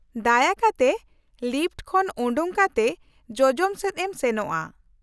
-ᱫᱟᱭᱟ ᱠᱟᱛᱮ ᱞᱤᱯᱷᱚᱴ ᱠᱷᱚᱱ ᱚᱰᱳᱜ ᱠᱟᱛᱮ ᱡᱚᱡᱚᱢ ᱥᱮᱫ ᱮᱢ ᱥᱮᱱᱚᱜᱼᱟ ᱾